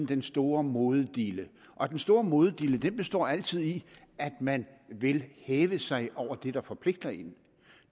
den store modedille og den store modedille består altid i at man vil hæve sig over det der forpligter en